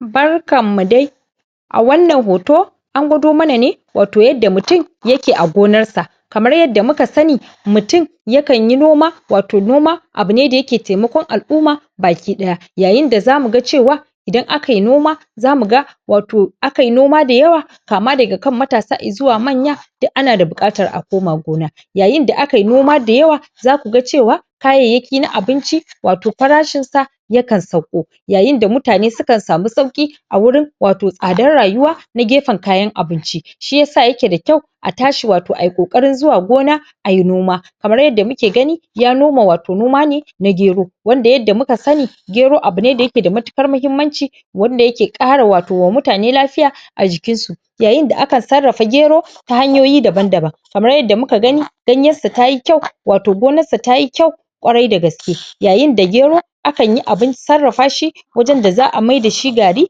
barkan nu dai a wannan hoto angwado mana ne wato yadda mutun yake a gonar sa kamar yadda musani mutun ya kanyi noma wato noma abu ne daya ke taimakon al'umma bakiɗaya yayin da zamu ga cewa idan akayi noma zamu ga wato akayi noma dayawa kama daga kan matasa har izuwa manya duk ana da buɓatar a koma gona yayin da akayi noma dayawa zakuga cewa kayayyaki na abinci wato farashi sa yakan sauko yayin da mutane sukan samu sayƙi a wurin wato tsadar rayuwa na gefen kayan abinci shiyasa yake da kyau a tashi wao ayi ƙoƙarin zuwa gona ayi noma kamar yadda muke gani ya noma wa to noma ne na gero wadda yadda muka sani gero abune dayake da matukan mahimmanci wanda yake ƙara wato ma mutane la fiya ajikin su yayin da akan sarafa gero ta ta hanyoyi daban daban kamar yadda muka gani ganyen sa tayi kyau wato gonar sa tayi kyau ƙwarai da gaske yayin da gero akan yi abun sarrafa shi wajen da za'a mai da shi gari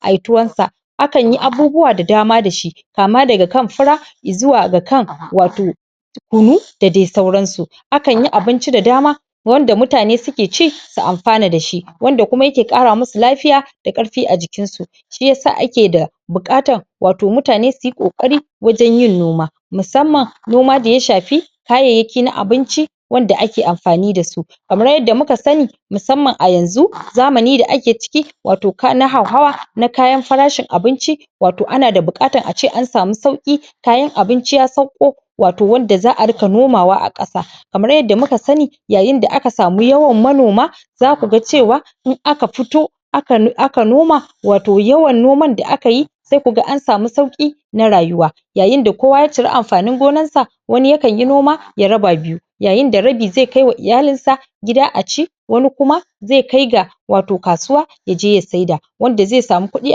ayi tuwon sa akan yi abubuwa da dama dashi kama daga kan fura izuwa ga kan wato kunu da dai sauran su akanyi abinci da dama wanda mutane suke ci su'an fana da shi wanda kuma yake ƙara musu lafiya da ƙarfi ajikin su shiya sa ake da buƙatan wato mutane suyi oari wajen yin moma musamman noma da ya shafi kayayyaki na abinci wanda ake anfani da su kamar yadda muka sani musamman ayanzu zamani da ake ciki wato na hau hawa na kayan farashin abinci wato ana da buƙatan ace an samu sauƙi kayan abinci ya sauƙo wato wadda za'a riƙka nomawa a ƙasa kamar yadda muka sani yayin da aka samu yawan manoma zaku ga cewa in aka fito aka noma wao yawan noman da akayi sai ku ga an sami sauƙi na rayuwa yayin da kowa ya cirii anfanin nomansa wani ya ka yi noma ya raba biyu yayin da rabi zai kai wa iyalin sa aci wani kuma zai kai ga wato kasuwa ya je ya saida wanda zai samu kuɗi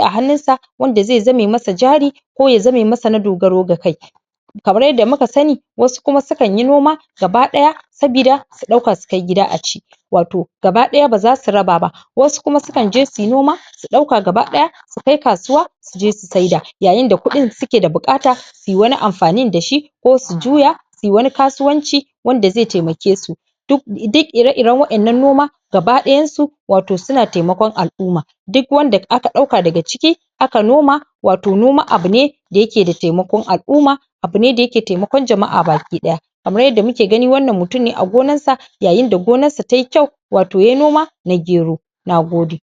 a hannun sa wanda zai zame masa jari ko ya zame masa na dogaro ga kai kamar yanda muka sani wasu kuma sukan yi noma gaba ɗaya sabida su ɗauka sukai gida aci wato gabaɗaya ba zasu raba ba wasu kuma sukan je suyi noma suɗauka gabaɗaya su kai kasuwa suje su saida yayinda kuɗin suke da buƙata suyi wani anfanin da shi ko su juya suyi wani kasuwanci wanda zai tamake su ]?] duk ire iren waƙannan noma gabaɗayan su wato suna taimakon al'umma duk wanda aka ɗauka daga ciki aka noma wato noma abu ne dayake da taimakon al'umma abune da yake taimakon jama'a baki ɗaya abune yadda muke gani wannan muttun a gonarsa yayin da gonar sa tayi kyau wato yayi noma na gero Nagode